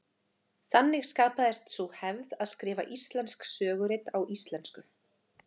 Þannig skapaðist sú hefð að skrifa íslensk sögurit á íslensku.